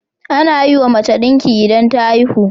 Anayiwa mace dinki idan ta haihu